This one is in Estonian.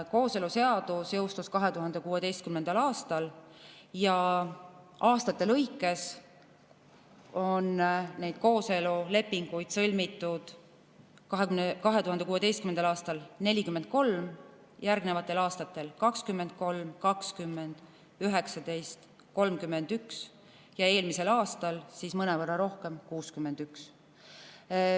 Kooseluseadus jõustus 2016. aastal ja aastate lõikes on kooselulepinguid sõlmitud järgmiselt: 2016. aastal 43, järgnevatel aastatel 23, 20, 19, 31 ja eelmisel aastal mõnevõrra rohkem: 61.